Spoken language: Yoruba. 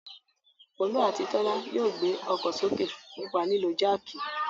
Folú àti Tọ́lá yóò gbé ọkọ̀ sókè nípa lílo jáákì.